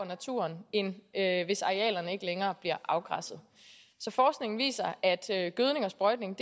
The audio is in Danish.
naturen end hvis arealerne ikke længere bliver afgræsset så forskningen viser at gødning og sprøjtning